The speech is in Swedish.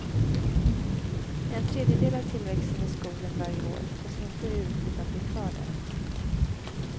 En tredjedel av tillväxten i skogen varje år tas inte ut utan blir kvar där.